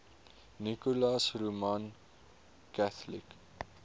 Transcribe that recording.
nicholas roman catholic